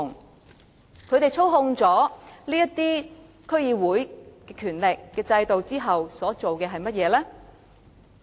當他們操控了區議會的權力和制度後，他們所做的是甚麼呢？